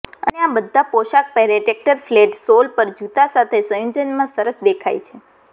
અને આ બધા પોશાક પહેરે ટ્રેક્ટર ફ્લેટ સોલ પર જૂતા સાથે સંયોજનમાં સરસ દેખાય છે